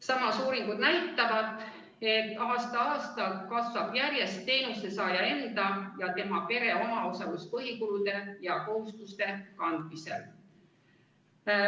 Samas, uuringud näitavad, et aasta-aastalt kasvab järjest teenuse saaja enda ja tema pere omaosalus põhikulude ja kohustuste kandmisel.